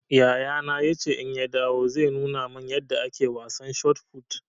Yayana ya ce in ya dawo zai nuna man yanda ake wasan shot fut